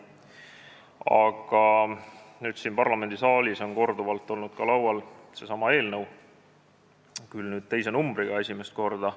Aga siin parlamendisaalis on korduvalt olnud laual ka seesama eelnõu, nüüd küll esimest korda teise numbriga.